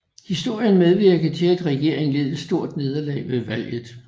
Historien medvirkede til at regeringen led et stort nederlag ved valget